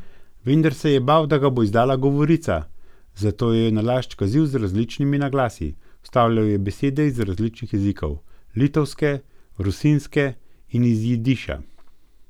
Vendar se je bal, da ga bo izdala govorica, zato jo je nalašč kazil z različnimi naglasi, vstavljal besede iz različnih jezikov, litovske, rusinske in iz jidiša.